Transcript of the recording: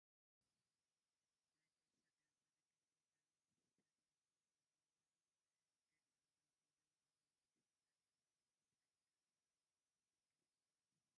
ናይ ኩዕሶ ጋንታ ደገፍቲ ኣብ እስታድየም ኮፍ ኢሎዉ ገሊኦም ደው ኢሎም ኣለዉ እቲ ማልያ ናይ ምንታይ ጋንታ ደገፍቲ እዮም ?